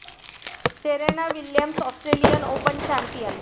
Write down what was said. Serena Williams Australian Open champion